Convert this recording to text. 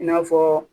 I n'a fɔ